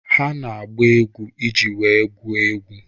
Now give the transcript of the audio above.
Ha na-agba egwu iji wee gwuo egwu.